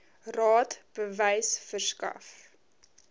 raad bewys verskaf